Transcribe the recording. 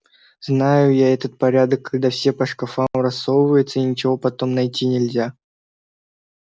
знаю я этот порядок когда все по шкафам рассовывается и ничего потом найти нельзя